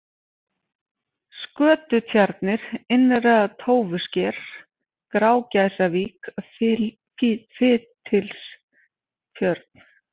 Skötutjarnir, Innra-Tófusker, Grágæsavík, Fitilstjörn